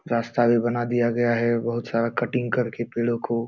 रास्ता भी बना दिया गया है बहुत सारा कटिंग करके पेड़ों को।